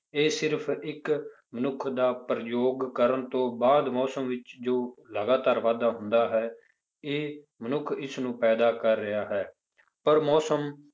ਇਹ ਸਿਰਫ ਇੱਕ ਮਨੁੱਖ ਦਾ ਪ੍ਰਯੋਗ ਕਰਨ ਤੋਂ ਬਾਅਦ ਮੌਸਮ ਵਿੱਚ ਜੋ ਲਗਾਤਾਰ ਵਾਧਾ ਹੁੰਦਾ ਹੈ, ਇਹ ਮਨੁੱਖ ਇਸਨੂੰ ਪੈਦਾ ਕਰ ਰਿਹਾ ਹੈ, ਪਰ ਮੌਸਮ